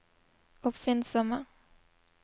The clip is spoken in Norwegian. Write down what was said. oppfinnsomme